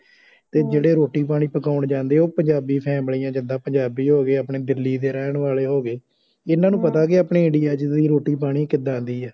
ਜਿਹੜੇ ਰੋਟੀ ਪਾਣੀ ਪਕੋਨ ਜਾਂਦੇ ਉਹ ਪੰਜਾਬੀ ਫੈਮਿਲੀਆਂ ਜਿੱਦਾਂ ਦਿੱਲੀ ਦੇ ਰਹਿਣ ਵਾਲੇ ਹੋ ਗਏ ਇਹਨਾਂ ਨੂੰ ਪਤਾ ਕੇ ਆਪਣੇ ਇੰਡੀਆ ਚ ਰੋਟੀ ਪਾਣੀ ਕਿੱਦਾਂ ਦੀ ਏ